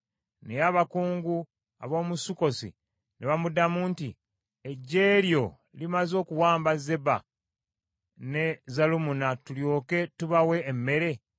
Naye abakungu ab’omu Sukkosi ne bamuddamu nti, “Eggye lyo limaze okuwamba Zeba ne Zalumunna tulyoke tubawe emmere?”